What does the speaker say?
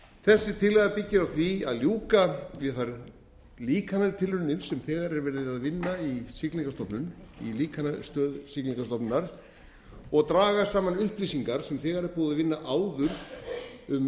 þessi tillaga byggir á því að ljúka við þær líkantilraunir sem þegar er vera að vinna í líkanastöð siglingastofnunar og draga saman upplýsingar sem þegar er búið að vinna áður um